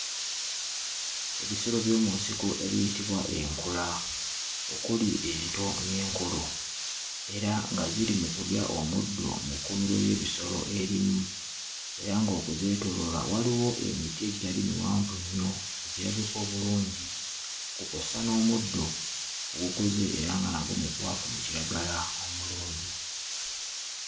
Ebisolo by'omu nsiko ebiyitibwa enkula okuli ento n'enkulu era nga ziri mu kulya omuddo mu kkuumiro ly'ebisolo erimu era ng'okuzeetooloola waliwo emiti egitali miwanvu nnyo, egirabika obulungi nga kw'ossa n'omuddo ogukuze era nga nagwo mukwafu mu kiragala omulungi.